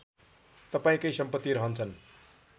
तपाईँकै सम्पति रहन्छन्